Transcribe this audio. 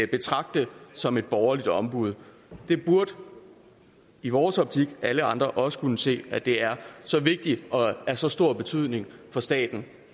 betragte som et borgerligt ombud det burde i vores optik alle andre også kunne se at det er så vigtigt og af så stor betydning for staten